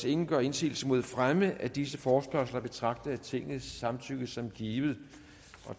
ingen gør indsigelse mod fremme af disse forespørgsler betragtes tingets samtykke som givet